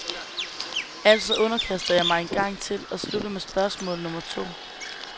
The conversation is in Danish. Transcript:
Altså underkaster jeg mig en gang til og slutter med spørgsmål nummer to.